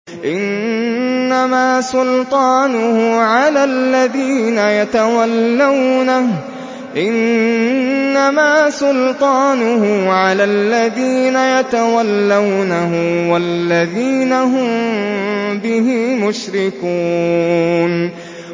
إِنَّمَا سُلْطَانُهُ عَلَى الَّذِينَ يَتَوَلَّوْنَهُ وَالَّذِينَ هُم بِهِ مُشْرِكُونَ